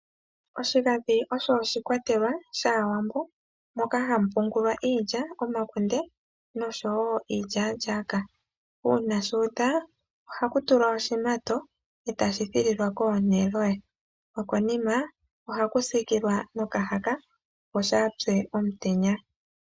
Oshigandhi oshikwatelwa moka ha mu pungulwa iilya, omakunde nosho woo iilyalyaaka. Uuna shu udha oha ku tulwa oshimato etashi kolongelwako neloya. Oha ku tulwa okahaka opo kaa shi pye komutenya.